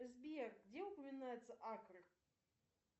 сбер где упоминаются акры